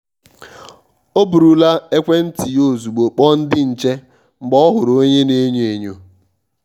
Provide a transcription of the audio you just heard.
ọ́ bụ̀rụ̀ là ékwéntị́ yá ozùgbo kpọ̀ọ ndị́ nchè mgbe ọ́ hụ̀rụ̀ ónyé a na enyo-enyo.